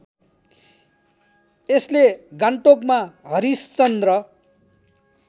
यसले गान्तोकमा हरिश्चन्द्र